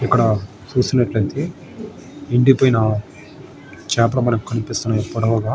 ఇక్కడ చూసినట్లయితే ఎండిపోయిన చేపలు మనకి కనిపిస్తున్నాయి పొడవుగా.